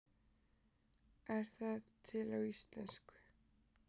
Er það til á íslensku?